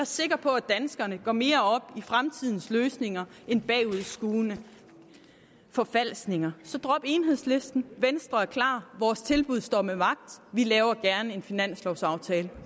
sikker på at danskerne går mere op i fremtidens løsninger end bagudskuende forfalskninger så drop enhedslisten venstre er klar vores tilbud står ved magt vi laver gerne en finanslovaftale